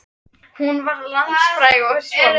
Hún varð landsfræg og er svona